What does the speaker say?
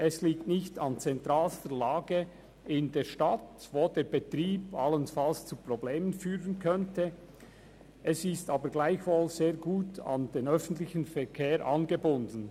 Es liegt nicht an zentralster Lage in der Stadt, wo der Betrieb allenfalls zu Problemen führen könnte, ist aber gleichwohl sehr gut an den öffentlichen Verkehr angebunden.